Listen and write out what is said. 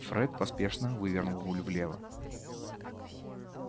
фред поспешно вывернул руль влево